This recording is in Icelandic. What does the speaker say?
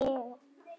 En þá kom áfallið.